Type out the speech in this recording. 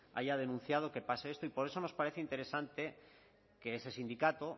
haya denunciado que pase esto y por eso nos parece interesante que ese sindicato